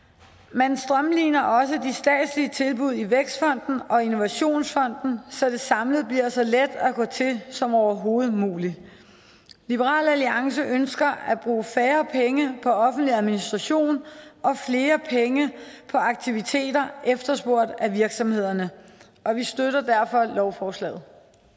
man strømliner også de statslige tilbud i vækstfonden og innovationsfonden så det samlet bliver så let at gå til som overhovedet muligt liberal alliance ønsker at bruge færre penge på offentlig administration og flere penge på aktiviteter efterspurgt af virksomhederne og vi støtter derfor lovforslaget